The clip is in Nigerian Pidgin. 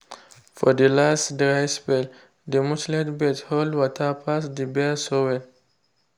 for the last dry spell the mulched beds hold water pass the bare soil.